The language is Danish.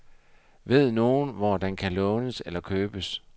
Ved nogen, hvor den kan lånes eller købes?